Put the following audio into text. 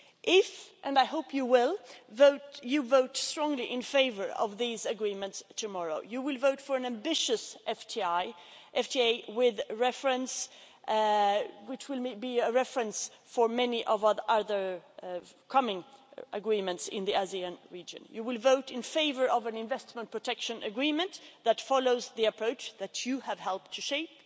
If and I hope you will this House votes strongly in favour of these agreements tomorrow, you will vote for an ambitious FTA, which will be a reference for many other upcoming agreements in the ASEAN region. You will vote in favour of an Investment Protection Agreement that follows the approach that you have helped to shape.